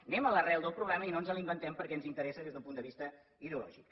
anem a l’arrel del problema i no ens l’inventem perquè ens interessa des del punt de vista ideològic